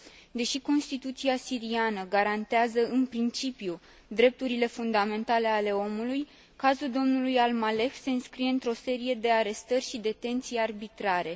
Deși Constituția siriană garantează, în principiu, drepturile fundamentale ale omului, cazul domnului Al Maleh se înscrie într o serie de arestări și detenții arbitrare.